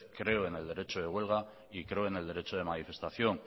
creo en el derecho de huelga y creo en el derecho de manifestación